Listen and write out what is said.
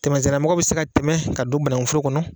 Tɛmɛsenna mɔgɔ bɛ se ka tɛmɛ ka don banaŋu foro kɔnɔ